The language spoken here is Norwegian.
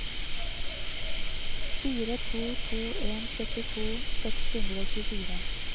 fire to to en syttito seks hundre og tjuefire